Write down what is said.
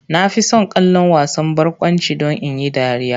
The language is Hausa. Na fi son kallon wasan barkwanci don in yi dariya.